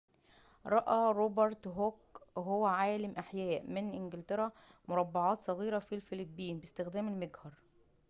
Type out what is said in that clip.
رأى روبرت هوك وهو عالمُ أحياء من إنجلترا مربعاتٍ صغيرةٍ في الفلين باستخدام المجهر